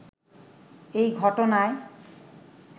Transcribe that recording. এই ঘটনায়